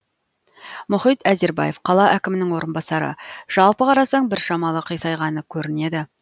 мұхит әзербаев қала әкімінің орынбасары жалпы қарасаң бір шамалы қисайғаны көрінеді